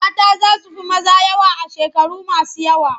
Mata za su fi maza yawa a shekaru masu yawa.